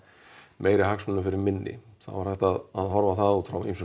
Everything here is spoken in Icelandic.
meiri hagsmunum fyrir minni þá er hægt að horfa á það út frá ýmsum